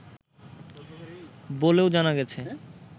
বলেও জানা গেছে